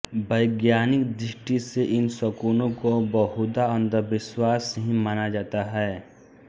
वैज्ञानिक दृष्टि से इन शकुनों को बहुधा अंधविश्वास ही माना जाता हैं